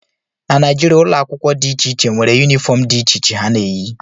na Naijiria, ụlọ akwụkwọ dị iche iche nwere yunifọm dị iche iche ha na-eyi